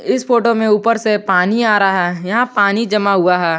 इस फोटो में ऊपर से पानी आ रहा है यहां पानी जमा हुआ है।